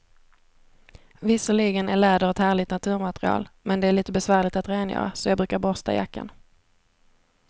Visserligen är läder ett härligt naturmaterial, men det är lite besvärligt att rengöra, så jag brukar borsta jackan.